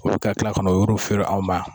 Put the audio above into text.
Ka kila ka n'o yɔrɔ feere an ma